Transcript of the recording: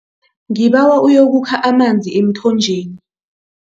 Ngibawa uyokukha amanzi emthonjeni.